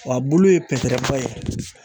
Wa a bulu ye pɛtɛrɛba ye